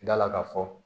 Da la ka fɔ